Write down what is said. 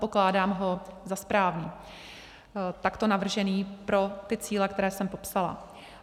Pokládám ho za správný takto navržený pro ty cíle, které jsem popsala.